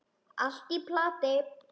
Allt í plati.